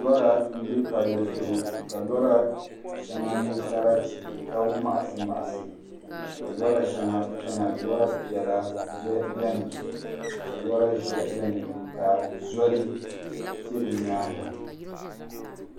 Lora n bɛ palli zuɣu ka lora shɛli nyɛ sarati ka maɣasi maɣasi ka lora shɛŋa chɛna lora piɛla shɛli biɛni ka lora ʒiɛhi biɛni ka zoli ʒɛ di nyaanga